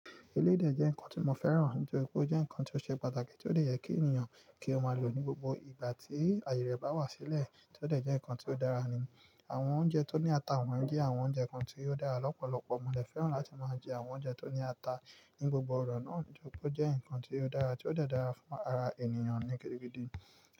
Eléde jẹ́ nnkan tí mo fẹ́ràn, nítorí pé ó jẹ́ nnkan tí ó ṣe pàtàkì, tí ó dè jẹ kí ènìyàn kí ó máa lò ní gbogbo ìgbà tí àyè rẹ̀ bá wá sílẹ̀, tí ó dè jẹ́ nnkan tí ó dára ni. Àwọn oúnjẹ tó ní ata wọ́n jẹ́ àwọn oúnjẹ kan tí ó dára lọ́pọ̀lọpọ̀. Mo dè fẹ́ràn láti máa jẹ àwọn oúnjẹ tó ní ata ní gbogbo ọ̀rọ̀ náà, nítorí pé ó jẹ́ nnkan tíió dára, tí ó dè dára fún ara ènìyàn ní gidi gidi.